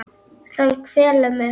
Sem kvelur mig.